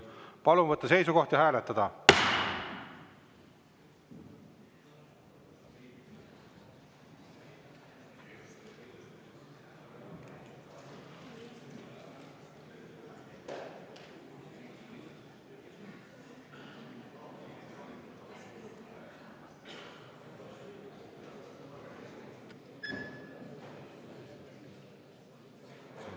Palun võtta seisukoht ja hääletada!